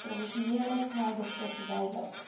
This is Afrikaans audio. tradisionele snydokter verduidelik